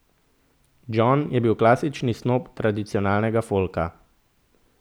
Jon je bil klasični snob tradicionalnega folka.